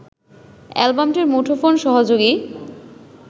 অ্যালবামটির মুঠোফোন-সহযোগী